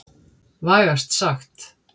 Vægast sagt.